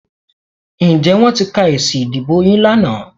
Ǹjẹ́ wọ́n ti ka èsì ìdìbò yín lánàá?